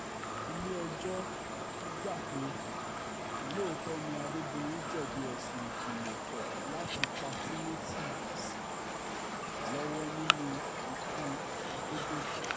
ilé-ẹjọ́ gbà pé lóòótọ́ ni adédọ́yìn jẹ̀bi ẹ̀sùn ìgbìmọ̀-pọ̀ láti pa timothy ó sì lọ́wọ́ nínú ikú àdẹ̀dọ̀kẹ̀